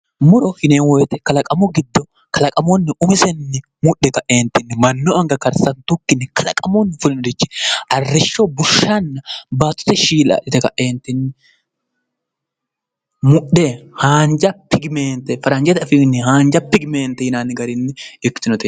Muro yineemmo woyte kalaqamu giddo kalaqamunni umisenni mudhe ka'eentinni mannu anga karsantuukkinni kalaqamunni fulte arriisshshonna baattote shiillo adhite ka'e mudhe haanja tigimeente faranjete afiinni haanja figimeente yinanni garinni ikkitinote